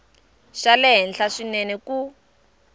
xa le henhla swinene ku